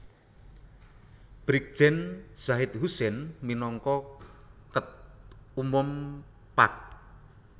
Brigjen Zahid Husein minangka Ket Umum Pag